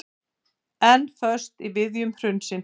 Enn föst í viðjum hrunsins